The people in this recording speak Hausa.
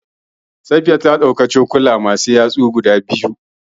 Safiya ta ɗauki cokuka masu yatsu da cokalin shayi.